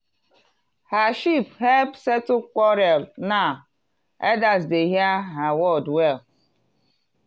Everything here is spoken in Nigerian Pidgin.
her sheep help settle quarrel now elders dey hear her word well.